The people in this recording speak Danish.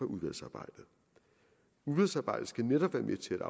udvalgsarbejdet udvalgsarbejdet skal netop være med til